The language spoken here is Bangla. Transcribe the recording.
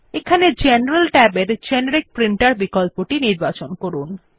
এখানে জেনারেল ট্যাবের জেনেরিক প্রিন্টের বিকল্পটি নির্বাচন করুন